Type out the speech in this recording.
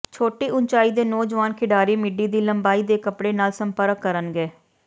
ਛੋਟੀ ਉਚਾਈ ਦੇ ਨੌਜਵਾਨ ਖਿਡਾਰੀ ਮਿਡੀ ਦੀ ਲੰਬਾਈ ਦੇ ਕੱਪੜੇ ਨਾਲ ਸੰਪਰਕ ਕਰਨਗੇ